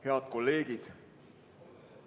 Head kolleegid!